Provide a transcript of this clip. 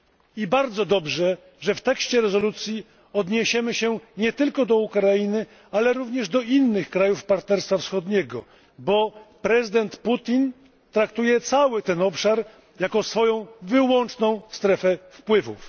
I bardzo dobrze, że w tekście rezolucji odniesiemy się nie tylko do Ukrainy, ale również do innych krajów Partnerstwa Wschodniego, bo prezydent Putin traktuje cały ten obszar jako swoją wyłączną strefę wpływów.